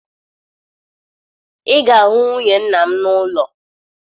Ị ga-ahụ nwunye nna m n'ụlọ